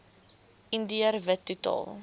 indiër wit totaal